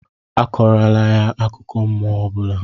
Akọrọla ya akụkọ mmụọ ọ bụla!